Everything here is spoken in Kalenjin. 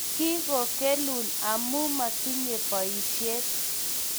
Kigogelun amu metinye boishiet